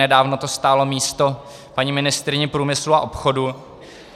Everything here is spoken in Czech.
Nedávno to stálo místo paní ministryni průmyslu a obchodu.